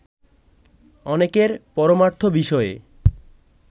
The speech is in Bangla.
অনেকের পরমার্থ বিষয়ে